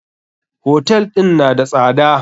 Hotel ɗin na da tsada.